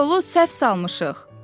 biz yolu səhv salmışıq.